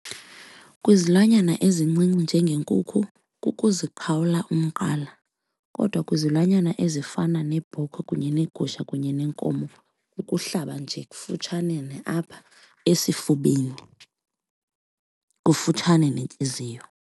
Kwizilwanyana ezincinci njengenkukhu kukuziqhawula umqala kodwa kwizilwanyana ezifana nebhokhwe kunye negusha kunye nenkomo ukuhlaba nje ukufutshane apha esifubeni, kufutshane nentliziyo.